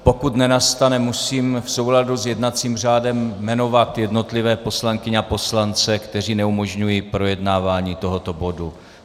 Pokud nenastane, musím v souladu s jednacím řádem jmenovat jednotlivé poslankyně a poslance, kteří neumožňují projednávání tohoto bodu.